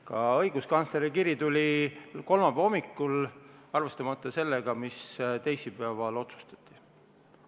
Ka õiguskantsleri kiri tuli kolmapäeva hommikul, arvestamata sellega, mis teisipäeval otsustati.